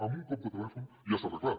amb un cop de telèfon ja està arreglat